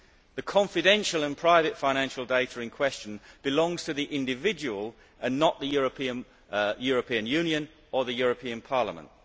The confidential and private financial data in question belongs to the individual and not to the European Union or the European Parliament.